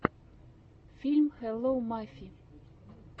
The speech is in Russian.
фильм хелло мафи